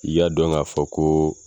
I y'a dɔn k'a fɔ koo